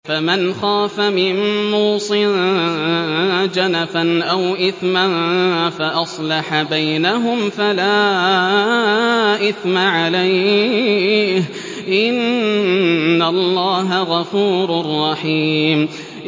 فَمَنْ خَافَ مِن مُّوصٍ جَنَفًا أَوْ إِثْمًا فَأَصْلَحَ بَيْنَهُمْ فَلَا إِثْمَ عَلَيْهِ ۚ إِنَّ اللَّهَ غَفُورٌ رَّحِيمٌ